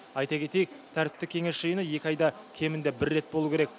айта кетейік тәртіптік кеңес жиыны екі айда кемінде бір рет болу керек